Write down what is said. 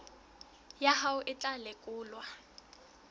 ya hao e tla lekolwa